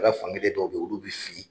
Ala fankelen dɔw bɛ olu bɛ fili.